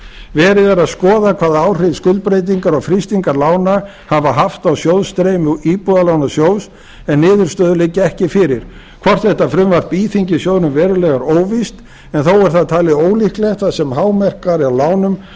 verið er að skoða hvaða áhrif skuldbreytingar og frystingar lána hafa haft á sjóðsstreymi íbúðalánasjóðs en niðurstöður liggja ekki fyrir hvort þetta frumvarp íþyngir sjóðnum verulega er óvíst en þó er það talið ólíklegt þar sem hámark væri á lánum og